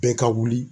Bɛɛ ka wuli